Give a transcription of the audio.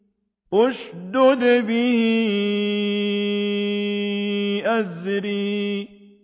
اشْدُدْ بِهِ أَزْرِي